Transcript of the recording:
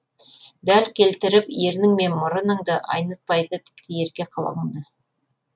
дәл келтіріп ернің мен мұрыныңды айнытпайды тіпті ерке қылығыңды